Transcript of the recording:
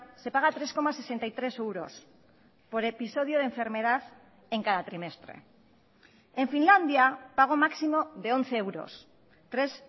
se paga tres coma sesenta y tres euros por episodio de enfermedad en cada trimestre en finlandia pago máximo de once euros tres